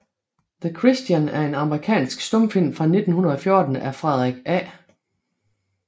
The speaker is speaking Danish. The Christian er en amerikansk stumfilm fra 1914 af Frederick A